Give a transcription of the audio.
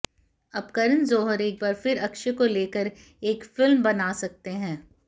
अब करण जौहर एक बार फिर से अक्षय को लेकर एक फिल्म बना सकते हैं